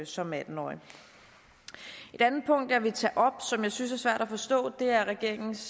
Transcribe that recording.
som atten årig et andet punkt som jeg vil tage op og som jeg synes er svært at forstå er regeringens